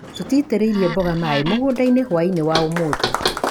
Tũitĩrĩirie mboga mai mũgũndainĩ hwainĩ wa ũmũthĩ.